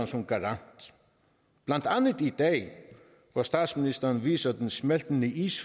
som garant blandt andet i dag hvor statsministeren viser den smeltende is